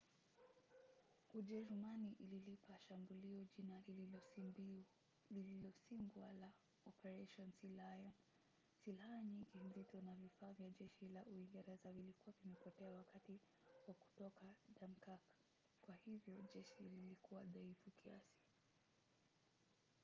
ujerumani ililipa shambulio jina lililosimbwa la operation sealion". silaha nyingi nzito na vifaa vya jeshi la uingereza vilikuwa vimepotea wakati wa kutoka dunkirk kwa hivyo jeshi lilikuwa dhaifu kiasi